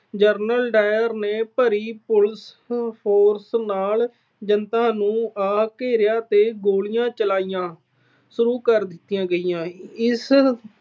General Dyer ਨੇ ਭਾਰੀ police force ਨਾਲ ਜਨਤਾ ਨੂੰ ਆ ਘੇਰਿਆ ਤੇ ਗੋਲੀਆਂ ਚਲਾਣੀਆਂ ਸ਼ੁਰੂ ਕਰ ਦਿੱਤੀਆਂ ਗਈਆਂ। ਇਸ